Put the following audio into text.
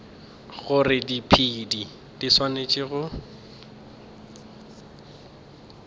gore diphedi di swanetše go